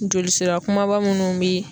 Jolisira kumaba munnu be